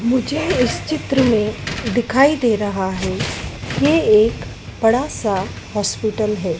मुझे इस चित्र में दिखाई दे रहा है ये एक बड़ा सा हॉस्पिटल है।